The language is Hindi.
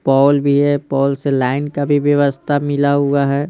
पोल भी है पोल से लाइन का भी व्यवस्था मिला हुआ है।